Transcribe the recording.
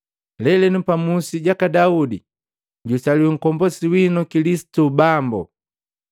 Leleno pamusi jaka Daudi jusaliwi Nkombosi wino Kilisitu, Bambu!